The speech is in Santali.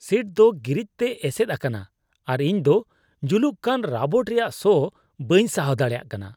ᱥᱤᱴ ᱫᱚ ᱜᱨᱤᱡᱽ ᱛᱮ ᱮᱥᱮᱫ ᱟᱠᱟᱱᱟ ᱟᱨ ᱤᱧ ᱫᱚ ᱡᱩᱞᱩᱜ ᱠᱟᱱ ᱨᱟᱵᱚᱴ ᱨᱮᱭᱟᱜ ᱥᱚ ᱵᱟᱹᱧ ᱥᱟᱦᱟᱣ ᱫᱟᱲᱮᱭᱟᱜ ᱠᱟᱱᱟ ᱾